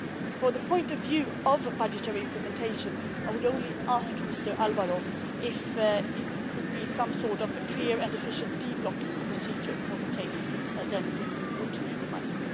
From the point of view of budgetary implementation, I would only ask Mr Alvaro if there could be some sort of clear and efficient de blocking procedure for the case when we would need the money.